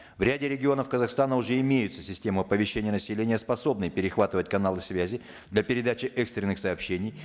в ряде регионов казахстана уже имеются системы оповещения населения способные перехватывать каналы связи для передачи экстренных сообщений